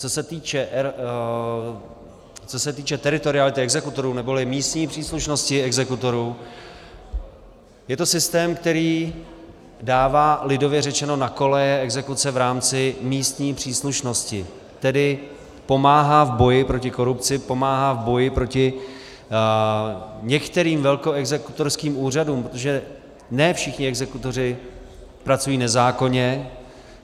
Co se týče teritoriality exekutorů neboli místní příslušnosti exekutorů, je to systém, který dává lidově řečeno na koleje exekuce v rámci místní příslušnosti, tedy pomáhá v boji proti korupci, pomáhá v boji proti některým velkoexekutorským úřadům, protože ne všichni exekutoři pracují nezákonně.